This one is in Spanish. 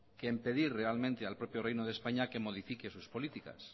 que en pedir realmente al propio reino de españa que modifique sus políticas